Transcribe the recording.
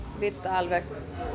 vita alveg